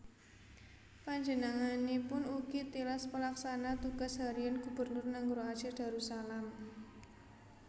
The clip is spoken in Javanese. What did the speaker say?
Panjenenganipun ugi tilas Pelaksana Tugas Harian Gubernur Nanggroe Aceh Darussalam